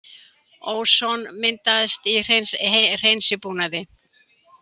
Óson myndaðist í hreinsibúnaði